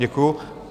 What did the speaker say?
Děkuji.